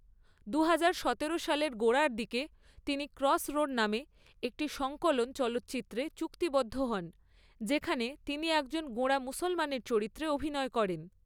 দুহাজার সতেরো সালের গোড়ার দিকে, তিনি ক্রসরোড নামে একটি সংকলন চলচ্চিত্রতে চুক্তিবদ্ধ হন, যেখানে তিনি একজন গোঁড়া মুসলমানের চরিত্রে অভিনয় করেন।